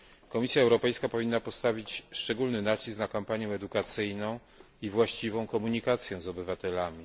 Komisja Europejska powinna postawić szczególny nacisk na kampanię edukacyjną i właściwą komunikację z obywatelami.